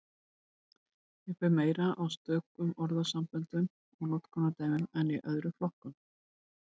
Hér ber meira á stökum orðasamböndum og notkunardæmum en í öðrum orðflokkum.